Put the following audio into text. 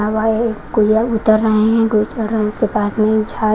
कोई उतर रहे हैं कोई पास में--